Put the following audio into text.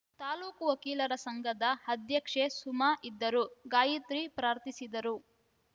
ತಾಲೂಕು ವಕೀಲರ ಸಂಘದ ಅಧ್ಯಕ್ಷೆ ಸುಮ ಇದ್ದರು ಗಾಯಿತ್ರಿ ಪ್ರಾರ್ಥಿಸಿದರು